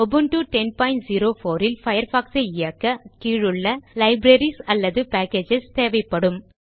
Ubuntu 1004 ல் Firefox சை இயக்க கீழுள்ள லைப்ரரீஸ் அல்லது பேக்கேஜஸ் தேவைப்படும்